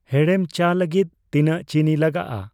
ᱦᱮᱲᱮᱢ ᱪᱟ ᱞᱟᱜᱤᱫ ᱛᱤᱱᱟᱹᱜ ᱪᱤᱱᱤ ᱞᱟᱜᱟᱜᱼᱟ